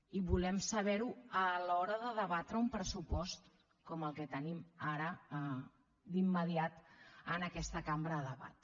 i volem saber ho a l’hora de debatre un pressupost com el que tenim ara d’immediat en aquesta cambra a debat